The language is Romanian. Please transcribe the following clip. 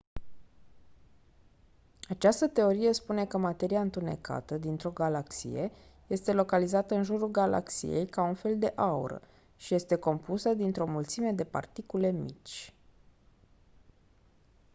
această teorie spune că materia întunecată dintr-o galaxie este localizată în jurul galaxiei ca un fel de aură și este compusă dintr-o mulțime de particule mici